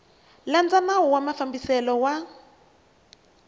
landza nawu wa mafambiselo ya